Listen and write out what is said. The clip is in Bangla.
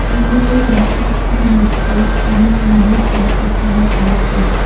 বিল্ডিঙের কন্সট্রাকশন হচ্ছে অনেক মানুষ কন্সট্রাকশনের কাজ করছে।